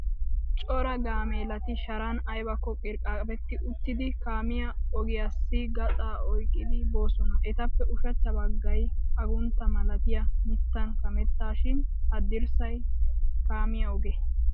Cora gaameelati sharan aybakko qirqqabbetti uttidi kaamiya ogiyassi gaxaa oyqqidi boosona. Etappe ushachcha baggay aguntta malatiya mittan kamettaashin haddirssay kaamiya oge.